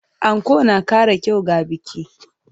Anko na ƙara kyau ga biki.